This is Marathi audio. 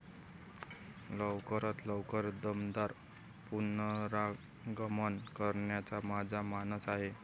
लवकरात लवकर दमदार पुनरागमन करण्याचा माझा मानस आहे.